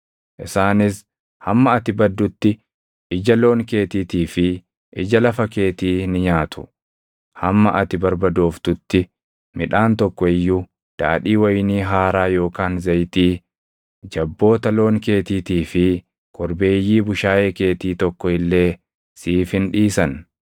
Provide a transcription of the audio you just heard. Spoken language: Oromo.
Isaanis hamma ati baddutti ija loon keetiitii fi ija lafa keetii ni nyaatu. Hamma ati barbadooftutti midhaan tokko iyyuu, daadhii wayinii haaraa yookaan zayitii, jabboota loon keetiitii fi korbeeyyii bushaayee keetii tokko illee siif hin dhiisan.